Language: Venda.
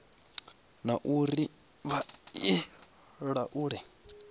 na uri vha i laule